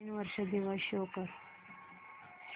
नवीन वर्ष दिवस शो कर